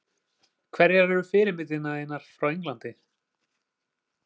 Hverjar eru fyrirmyndir þínar frá Englandi?